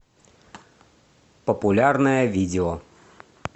популярное видео